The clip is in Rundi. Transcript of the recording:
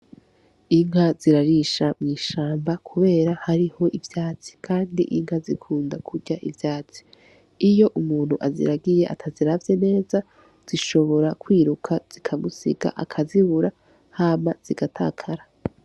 Inka zirarisha mw'ishamba kubera hariho ivyatsi, kandi inka zikunda kurya ivyatsi. Iyo umuntu aziragiye, ataziravye neza zishobora kwiruka zikamusiga, akazibura hama zigatakara.